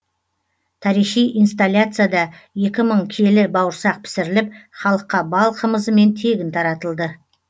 тарихи инсталяцияда екі мың келі бауырсақ пісіріліп халыққа бал қымызымен тегін таратылды